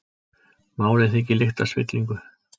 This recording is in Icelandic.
Málið þykir lykta af spillingu